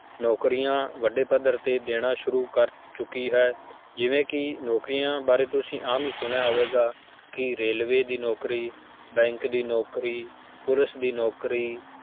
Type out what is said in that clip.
ਨੌਕਰੀਆਂ ਵੱਡੇ ਪੱਧਰ ਤੇ ਦੇਣਾ ਸ਼ੁਰੂ ਕਰ ਚੁੱਕੀ ਹੈ, ਜਿਵੇਂ ਕਿ ਨੌਕਰੀਆਂ ਬਾਰੇ ਤੁਸੀਂ ਆਮ ਹੀ ਸੁਣਿਆ ਹੋਵੇਗਾ ਕਿ railway ਦੀ ਨੌਕਰੀ bank ਦੀ ਨੌਕਰੀ, ਪੁਲਿਸ ਦੀ ਨੌਕਰੀ